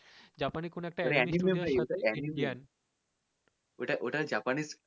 জাপানে কোন একটা animal হয় amphibian